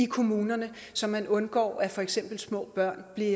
i kommunerne så man undgår at for eksempel små børn bliver